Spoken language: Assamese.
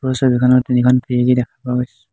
ওপৰৰ ছবিখনত তিনিখন খিৰিকী দেখা পোৱা গৈছ--